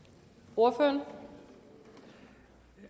tror egentlig